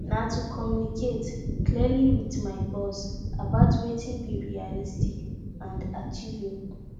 na to communicate clearly with my boss about wetin be realistic and achievable